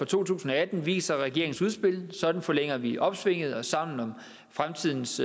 to tusind og atten viser regeringens udspil sådan forlænger vi opsvinget og sammen om fremtidens